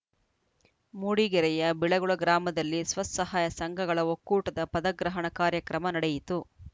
ಮೂಡಿಗೆರೆಯ ಬಿಳಗುಳ ಗ್ರಾಮದಲ್ಲಿ ಸ್ವಸಹಾಯ ಸಂಘಗಳ ಒಕ್ಕೂಟದ ಪದಗ್ರಹಣ ಕಾರ‍್ಯಕ್ರಮ ನಡೆಯಿತು